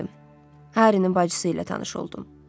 Harinin bacısı ilə tanış oldum.